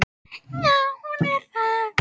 Já, hún er það.